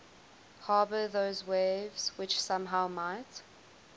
harbour those waves which somehow might